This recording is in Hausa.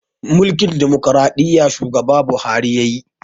Mulkin ɗumukraɗiya shugaba buhari yayi